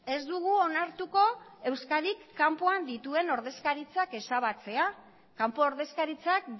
ez dugu onartuko euskadik kanpoan dituen ordezkaritzak ezabatzea kanpo ordezkaritzak